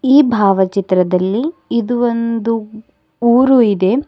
ಈ ಭಾವ ಚಿತ್ರದಲ್ಲಿ ಇದು ಒಂದು ಊರು ಇದೆ.